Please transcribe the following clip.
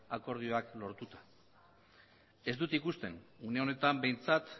akordioak lortuta ez dut ikusten une honetan behintzat